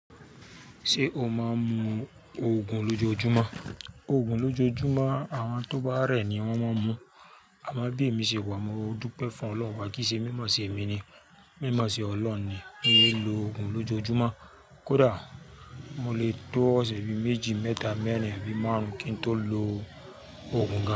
Ṣé o máa ń mu Ògùn lójoójúmọ́? Ògùn lójoójúmọ́, àwọn tó bá rẹ̀ ni wọ́n mo ń mu. Aamo bí ìmọ̀ ṣe wà, mo dúró pẹ̀ fún Ọlọ́run, kí ṣe mímọ̀ ṣe èmi ni, mímọ̀ ṣe Ọlọ́run ni, kí n lè lo ògùn lójoójúmọ́. Kódà mo lè tó ọ̀sẹ̀ bi méjì, mẹ́ta, mẹ́rin, abi márùn-ún kí n tó lo ògùn kan.